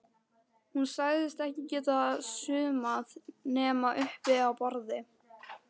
Hún sagðist ekki geta saumað nema uppi á borði.